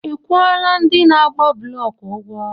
Ị kwụọla ndị na-agba blọk ụgwọ?